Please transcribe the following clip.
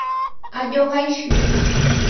Ajo kaishu.''